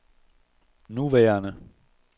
nuværende